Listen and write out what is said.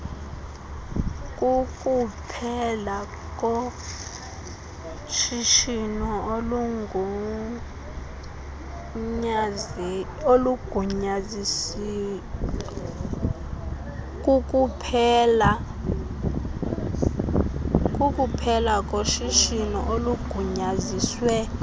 kukuphela koshishino olugunyaziswe